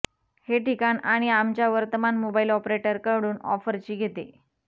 हे ठिकाण आणि आमच्या वर्तमान मोबाइल ऑपरेटरकडून ऑफरची घेते